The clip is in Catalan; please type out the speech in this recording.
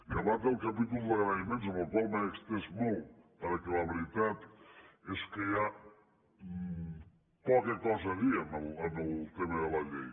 acabat el capítol d’agraïments en el qual m’he estès molt perquè la veritat és que hi ha poca cosa a dir en el tema de la llei